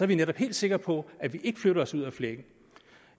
vi netop helt sikre på at vi ikke flytter os ud af flækken